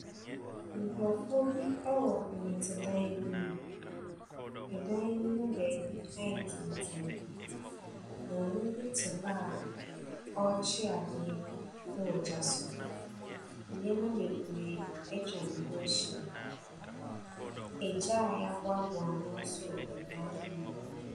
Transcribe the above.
Nkrɔfu bi ɛwɔ dɔte dan bi mu. Ɛdan no mo bɛɛbi ayɛ tuntum. Maami bi ti hɔ a ɔɔkyi ade ɛwɔ gya so. Niɛma bebree etwa ne ho ehyia. Egya a yabuabua ano nso wɔ ɛdan bi mu.